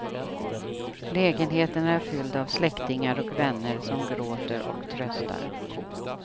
Lägenheten är fylld av släktingar och vänner som gråter och tröstar.